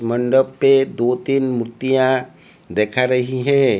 मंडप पे दो तीन मूर्तियां देखा रही है।